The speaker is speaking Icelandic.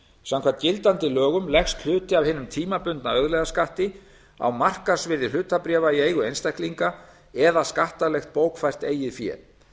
samkvæmt gildandi lögum leggst hluti af hinum tímabundna auðlegðarskatti á markaðsvirði hlutabréfa í eigu einstaklinga eða skattalegt bókfært eigið fé